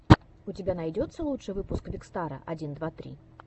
у тебя найдется лучший выпуск викстара один два три